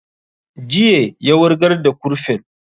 Jiye ya wurgar da kurfin